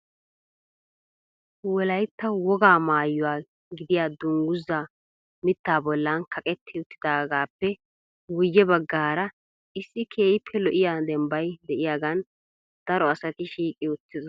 Wolaytta wogaa maayyuwaa gidiyaa dungguza mittaa bollan kaqetti uttidaagappe guyye baggaara issi keehippe lo"iyaa dembbay de'iyaagan daro asati shiiqi uttidoosona.